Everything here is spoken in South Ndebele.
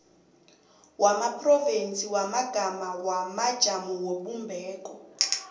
wamaphrovinsi wamagama wamajamobumbeko